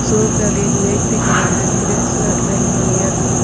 shop के आगे एक व्यक्ति खड़ा है नीले शर्ट पहने हुई है दु--